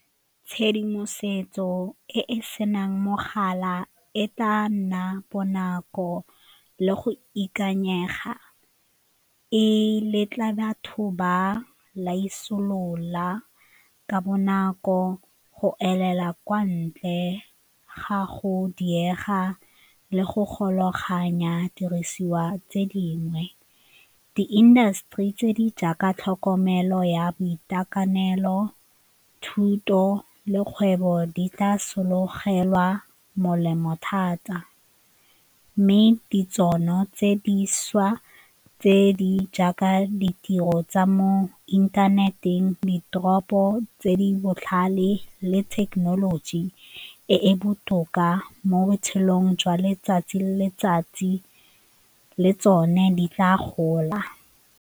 Tshedimosetso e e senang mogala e tla nna bonako le go ikanyega e letla batho ba laisolola ka bonako, go elela kwa ntle ga go diega le go golaganya dirisiwa tse dingwe, di-industry tse di jaaka tlhokomelo ya boitekanelo, thuto le kgwebo di tla sologela molemo thata mme tse dišwa tse di jaaka ditiro tsa mo inthaneteng, ditoropo tse di botlhale le thekenoloji e e botoka mo botshelong jwa letsatsi le letsatsi le tsone di tla gola.